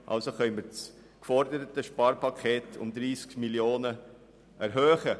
Also müssen wir das geforderte Sparpaket um 30 Mio. Franken erhöhen.